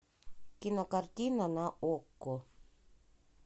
кинокартина на окко